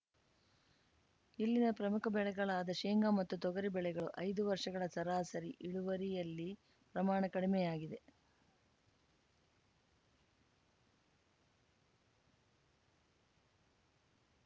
ಇಲ್ಲಿನ ಪ್ರಮುಖ ಬೆಳೆಗಳಾದ ಶೇಂಗಾ ಮತ್ತು ತೊಗರಿ ಬೆಳೆಗಳು ಐದು ವರ್ಷಗಳ ಸರಾಸರಿ ಇಳುವರಿಯಲ್ಲಿ ಪ್ರಮಾಣ ಕಡಿಮೆಯಾಗಿದೆ